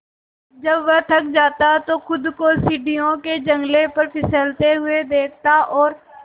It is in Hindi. जब वह थक जाता तो खुद को सीढ़ियों के जंगले पर फिसलते हुए देखता और